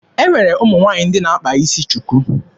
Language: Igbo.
E nwere ụmụ nwaanyị ndị na-akpa isi shuku.